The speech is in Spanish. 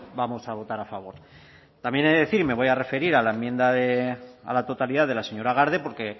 vamos a votar a favor también he de decir y me voy a referir a la enmienda de a la totalidad de la señora garde porque